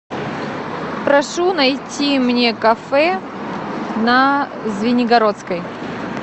прошу найти мне кафе на звенигородской